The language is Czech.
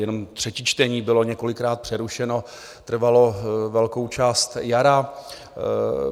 Jenom třetí čtení bylo několikrát přerušeno, trvalo velkou část jara.